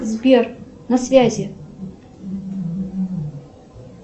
сбер на связи